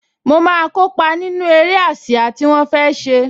Mo máa kópa nínú eré ásíá tí wọ́n fẹ́ ṣe